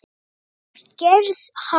við gerð hans.